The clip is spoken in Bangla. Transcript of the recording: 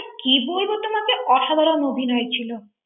কি বলবো তোমাকে অসাধারণ অভিনয় ছিল?